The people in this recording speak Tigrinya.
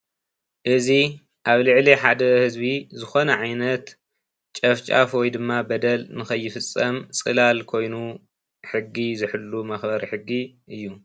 እዚ ኣብ ልዕሊ ሓደ ህዝቢ ዝኮነ ዓይነት ጨፍጫፍ ወይድማ በደል ንከይፍፀም ፅላል ኮይኑ ሕጊ ዝሕሉ መክበሪ ሕጊ እዩ።